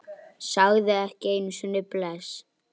Hún löðrar.